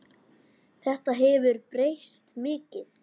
Þetta hefur breyst mikið.